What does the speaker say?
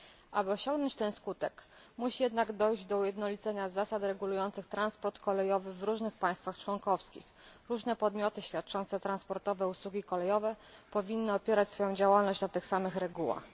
Aby osiągnąć ten skutek, musi jednak dojść do ujednolicenia zasad regulujących transport kolejowy w różnych państwach członkowskich, różne podmioty świadczące transportowe usługi kolejowe powinny opierać swoją działalność na tych samych regułach.